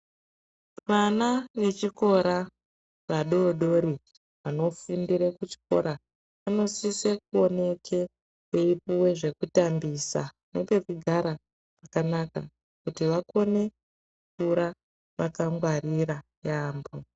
Vana vechikora vadodori vanofundira kuchikora vanosise kuoneke veipuwa zvekutambisa ngekugara kwakanaka kuti vakone kunyora vakangwarirwa yambo.